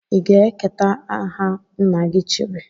I ga-eketa aha nna-gi chiri?